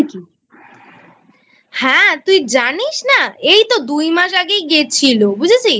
হ্যাঁ তুই জানিস না? এই তো দুইমাস আগেই গেছিল বুঝেছিস?